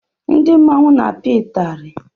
Ndị mmọnwu na-apia itari.